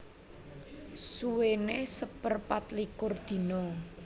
Suwéné seperpatlikur dina